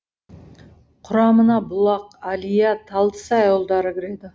құрамына бұлақ әлия талдысай ауылдары кіреді